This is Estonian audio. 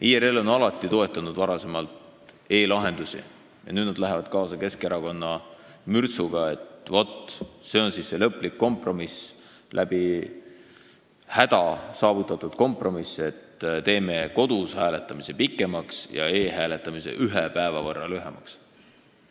IRL on varem alati toetanud e-lahendusi, aga nüüd nad lähevad kaasa Keskerakonna mürtsuga, et vot, see on siis see lõplik kompromiss, läbi häda saavutatud kompromiss, teeme kodus hääletamise aja pikemaks ja e-hääletamise aja ühe päeva võrra lühemaks.